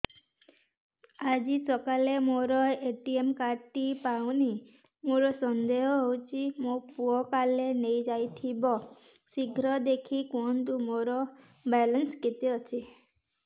ଆଜି ସକାଳେ ମୋର ଏ.ଟି.ଏମ୍ କାର୍ଡ ଟି ପାଉନି ମୋର ସନ୍ଦେହ ହଉଚି ମୋ ପୁଅ କାଳେ ନେଇଯାଇଥିବ ଶୀଘ୍ର ଦେଖି କୁହନ୍ତୁ ମୋର ବାଲାନ୍ସ କେତେ ଅଛି